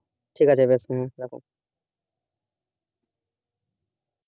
ঠিক আছে বেশ হম রাখো,